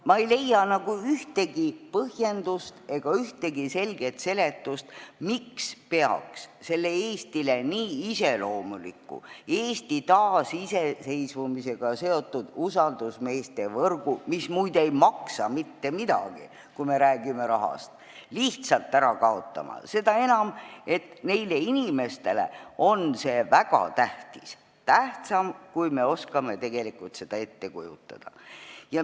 Ma ei leia ühtegi põhjendust ega selget seletust, miks peaks selle Eestile nii iseloomuliku, Eesti taasiseseisvumisega seotud usaldusmeeste võrgu, mis muide ei maksa mitte midagi, kui me räägime rahast, lihtsalt ära kaotama, seda enam, et neile inimestele on see väga tähtis, tähtsam, kui me oskame tegelikult ette kujutada.